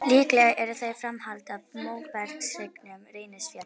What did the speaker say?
Líklega eru þeir framhald af móbergshryggnum Reynisfjalli.